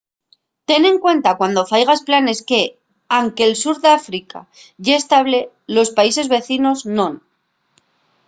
ten en cuenta cuando faigas planes que anque'l sur d'áfrica ye estable los países vecinos non